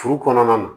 Furu kɔnɔna na